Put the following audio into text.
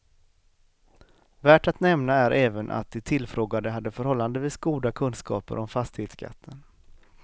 Värt att nämna är även att de tillfrågade hade förhållandevis goda kunskaper om fastighetsskatten.